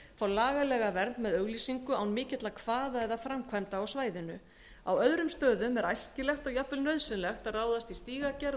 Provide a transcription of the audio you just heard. fá lagalega vernd með auglýsingu án mikilla kvaða eða framkvæmda á svæðinu á öðrum stöðum er æskilegt og jafnvel nauðsynlegt að ráðast í stígagerð og